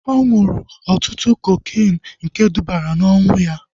Ọ ṅụrụ ọtụtụ kokeenu nke dubara na ọnwụ ya